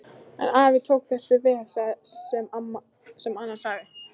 En afi tók þessu vel sem Anna sagði.